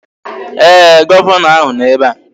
Ee, Gọvanọ ahụ nọ ebe a